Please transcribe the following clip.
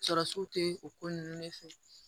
Sɔrɔsiw tɛ o ko ninnu de fɛ